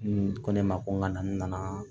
N ko ne ma ko n ka na n nana